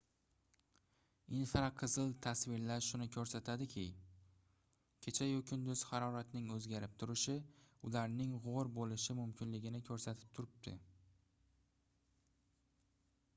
infraqizil tasvirlar shuni koʻrsatadiki kecha-yu kunduz haroratning oʻzgarib turishi ularning gʻor boʻlishi mumkinligini koʻrsatib turibdi